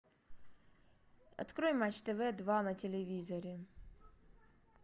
открой матч тв два на телевизоре